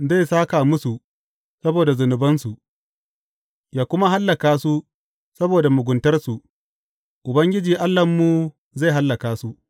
Zai sāka musu saboda zunubansu yă kuma hallaka su saboda muguntarsu; Ubangiji Allahnmu zai hallaka su.